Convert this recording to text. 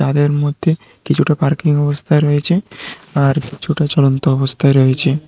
তাদের মধ্যে কিছুটা পার্কিং অবস্থায় রয়েছে আর কিছুটা চলন্ত অবস্থায় রয়েছে।